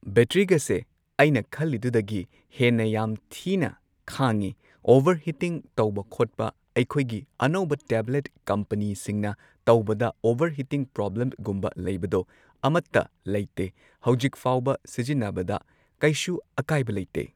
ꯕꯦꯇ꯭ꯔꯤꯒꯁꯦ ꯑꯩꯅ ꯈꯜꯂꯤꯗꯨꯗꯒꯤ ꯍꯦꯟꯅ ꯌꯥꯝ ꯊꯤꯅ ꯈꯥꯡꯉꯦ ꯑꯣꯕꯔꯍꯤꯇꯤꯡ ꯇꯧꯕ ꯈꯣꯠꯄ ꯑꯩꯈꯣꯏꯒꯤ ꯑꯅꯧꯕ ꯇꯦꯕ꯭ꯂꯦꯠ ꯀꯝꯄꯅꯤꯁꯤꯡꯅ ꯇꯧꯕꯗ ꯑꯣꯕꯔꯍꯤꯇꯤꯡ ꯄ꯭ꯔꯣꯕ꯭ꯂꯦꯝꯒꯨꯝꯕ ꯂꯩꯕꯗꯣ ꯑꯃꯠꯇ ꯂꯩꯇꯦ ꯍꯧꯖꯤꯛꯐꯥꯎꯕ ꯁꯤꯖꯤꯟꯅꯕꯗ ꯀꯩꯁꯨ ꯑꯀꯥꯏꯕ ꯂꯩꯇꯦ꯫